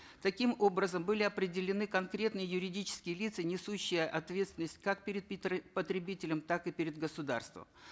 таким образом были определены конкретные юридические лица несущие ответственность как перед потребителем так и перед государством